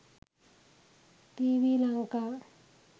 tv lanka